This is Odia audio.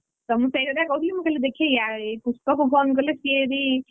ତ ମୁଁ ସେଇ କଥା କହୁଥିଲି ତ ଦେଖି ଏଇ ପୁଷ୍ପାକୁ phone କଲେ ସିଏ ଯଦି,